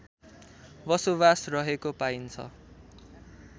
बसोबास रहेको पाइन्छ